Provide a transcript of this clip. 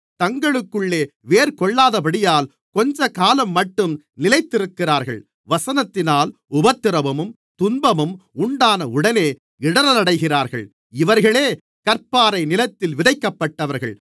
தங்களுக்குள்ளே வேர்கொள்ளாதபடியால் கொஞ்சக்காலம்மட்டும் நிலைத்திருக்கிறார்கள் வசனத்தினால் உபத்திரவமும் துன்பமும் உண்டானவுடனே இடறலடைகிறார்கள் இவர்களே கற்பாறை நிலத்தில் விதைக்கப்பட்டவர்கள்